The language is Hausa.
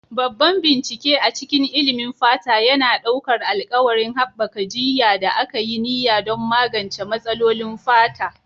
Babban bincike a cikin ilimin fata yana ɗaukar alƙawarin haɓaka jiyya da aka yi niyya don magance matsalolin fata.